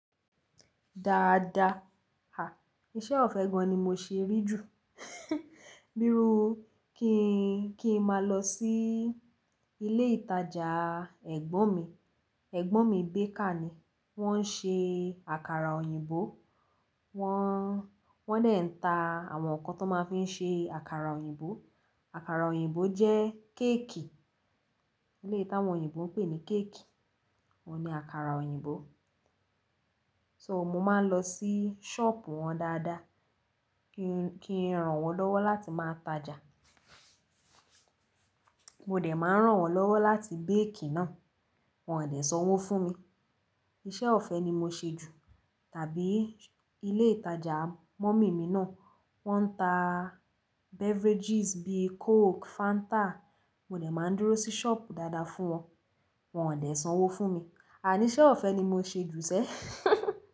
Dáadáa, à, iṣẹ́ ọ̀fẹ́ gan an ni mo ṣé rí jù. Bíru, kí n, kí n máa lọ sí ilé ìtajà ẹ̀gbọ́n mi. Ẹ̀gbọ́n mi baker ni. Wọ́n ń ṣe àkàrà òyìnbó. Wọ́n, wọ́n dè ń ta àwọn ǹkan tó máa ń fi ṣe àkàrà òyìnbó. Àkàrà òyìnbó jẹ́ cake. Eleyii tàwọn òyìnbó ń pè ní cake. Ọ́un ní àkàrà òyìnbó. So mo máa ń lọ sí shop wọn dáadáa kí n, kí n rán wọn lọ́wọ́ láti máa tajà. Mo dẹ̀ máa ń rán wọn lọ́wọ́ láti bake náà. Wọn ò dẹ̀ sanwó fún mi. Iṣẹ́ ọ̀fẹ́ ni mo ṣe jù. Tàbí ilé ìtajà mummy mi náà, wọ́n ń ta beverages bíi coke, Fanta. Mo dẹ̀ máa ń dúró sí shop dáadáa fún wọn. Wọn ò dẹ̀ sanwó fún mi. Àní iṣẹ́ ọ̀fẹ́ ni mo ṣe jù sẹ́.